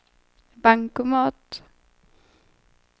bankomat